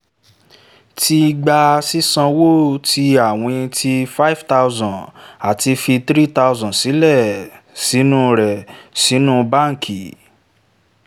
ti gba sísanwó tí àwìn tí five thousand àti fi three thousand sílẹ̀ nínú rẹ̀ sínú báǹkì